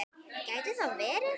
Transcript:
Gæti það verið?